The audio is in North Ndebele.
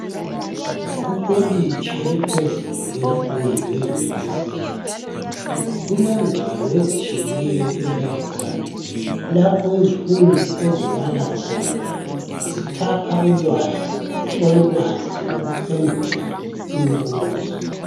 Kukoliji eliphezulu lenfundo eyunivesithi, kulengwalo ezitshiyeneyo elibrary . Lapho izifundi ezibala khona zithapha ulwazi olubanzi. Lokuphendula imibuzo.